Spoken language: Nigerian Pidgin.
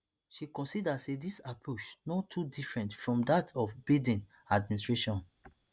she consider say dis approach no too different from dat of biden administration